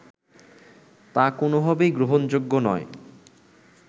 তা কোনোভাবেই গ্রহণযোগ্য নয়